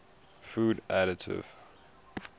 food additive